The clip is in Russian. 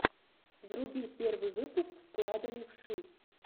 вруби первый выпуск склада левши